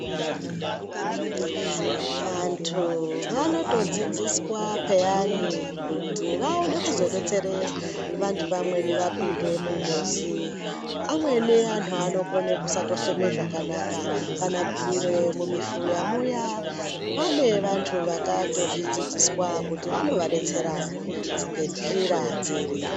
Vantu vanotodzidziswa peyani kuti vaone kuzodetsere vantu vamweni vapinde mungozi amweni anhu anokone kusatofema zvakanaka kana kuwira mumifuya muyaa pane vantu vakatozvidzidziswa kuti vanovadetsera ngenzira dziri